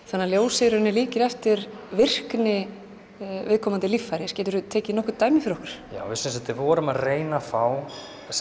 þannig að ljósið í raun líkir eftir virkni viðkomandi líffæris geturðu tekið nokkur dæmi fyrir okkur já við sem sagt vorum að reyna að fá